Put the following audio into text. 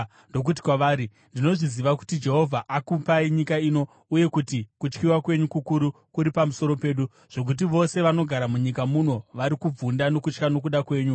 ndokuti kwavari, “Ndinozviziva kuti Jehovha akupai nyika ino, uye kuti kutyiwa kwenyu kukuru kuri pamusoro pedu, zvokuti vose vanogara munyika muno vari kubvunda nokutya nokuda kwenyu.